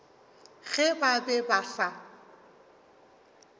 ge ba be ba sa